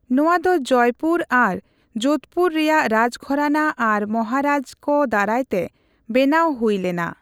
ᱱᱚᱣᱟ ᱫᱚ ᱡᱚᱭᱯᱩᱨ ᱟᱨ ᱡᱳᱫᱷᱯᱩᱨ ᱨᱮᱭᱟᱜ ᱨᱟᱡᱽᱜᱷᱚᱨᱟᱱᱟ ᱟᱨ ᱢᱟᱦᱟᱨᱟᱡᱽ ᱠᱚ ᱫᱟᱨᱟᱭ ᱛᱮ ᱵᱮᱱᱟᱣ ᱦᱩᱭ ᱞᱮᱱᱟ ᱾